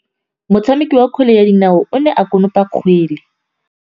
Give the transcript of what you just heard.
Motshameki wa kgwele ya dinaô o ne a konopa kgwele.